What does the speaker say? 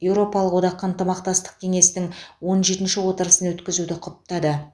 еуропалық одақ ынтымақтастық кеңесінің он жетінші отырысын өткізуді құптады